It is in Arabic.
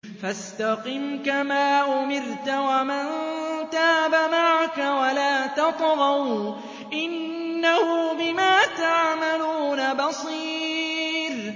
فَاسْتَقِمْ كَمَا أُمِرْتَ وَمَن تَابَ مَعَكَ وَلَا تَطْغَوْا ۚ إِنَّهُ بِمَا تَعْمَلُونَ بَصِيرٌ